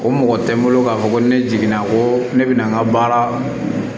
O mɔgɔ tɛ n bolo k'a fɔ ko ne jiginna ko ne bɛna n ka baara